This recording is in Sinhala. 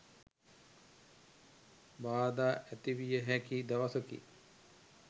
බාධා ඇති විය හැකි දවසකි.